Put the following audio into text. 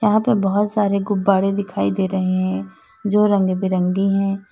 यहां पे बहुत सारे गुब्बारे दिखाई दे रहे हैं जो रंगबिरंगी हैं।